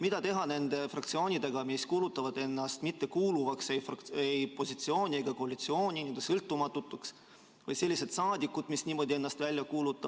Mida teha nende fraktsioonide või saadikutega, kes kuulutavad ennast n-ö sõltumatuks ehk ütlevad, et nad ei kuulu ei opositsiooni ega koalitsiooni?